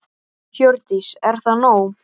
Hjördís: Er það nóg?